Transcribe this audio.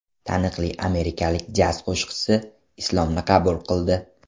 Taniqli amerikalik jaz qo‘shiqchisi Islomni qabul qildi.